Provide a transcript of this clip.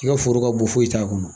I ka foro ka bon foyi t'a kɔnɔ.